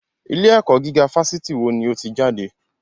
Ilé ẹ̀kọ́ gíga fásitì wo ni o ti jáde?